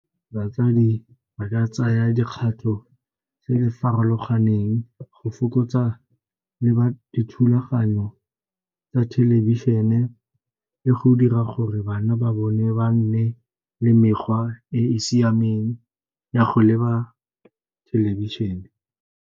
Batsadi ba ka tsaya dikgatho tse di farologaneng go fokotsa le ba dithulaganyo tsa thelebišene le go dira gore bana ba bone ba nne le mekgwa e e siameng ya go leba thelebišene.